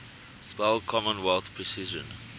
spell commonwealth precision